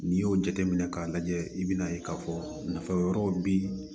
N'i y'o jateminɛ k'a lajɛ i bi n'a ye k'a fɔ nafa wɛrɛw bi